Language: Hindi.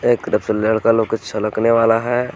लड़का लोग छलक ने वाला है.